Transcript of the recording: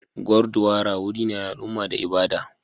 Gurdwara wuri ne na al'umma da ibada.